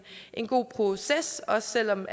god proces også selv om